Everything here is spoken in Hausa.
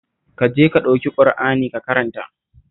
Ka je ka ɗauki Ƙur'ani ka karanta